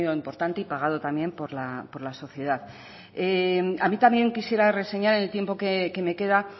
importante y pagado también por la sociedad a mí también quisiera reseñar en el tiempo que me queda